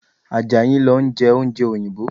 Àjàyí ń lọ jẹ oúnjẹ òyìnbó